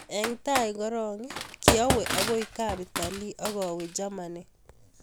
Eng tai korok kiawee agoi kapitalii akawee jamanii